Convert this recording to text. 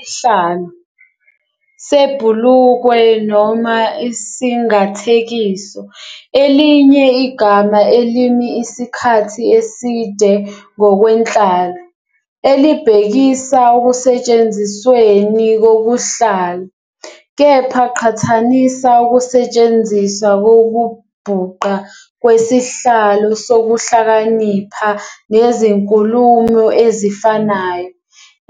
Isihlalo, ssebhulukwe, noma isingathekiso, elinye igama elimi isikhathi eside ngokwenhlalo, elibhekisa ekusetshenzisweni kokuhlala - kepha qhathanisa ukusetshenziswa kokubhuqa kwesihlalo sokuhlakanipha nezinkulumo ezifanayo,